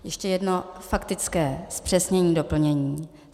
Ještě jedno faktické zpřesnění doplnění.